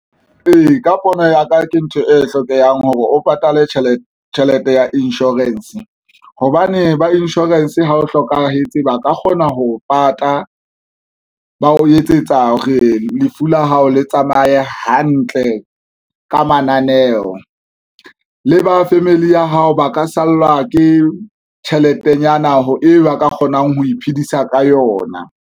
Ee, ka pono ya ka ke ntho e hlokehang hore o patale tjhelete ya insurance hobane ba insurance ha o hlokahetse, ba ka kgona ho pata, ba o etsetsa hore lefu la hao le tsamaye hantle. Ka mananeo le ba family ya hao, ba ka sallwa ke tjheletenyana eo e ba ka kgonang ho iphedisa ka yona.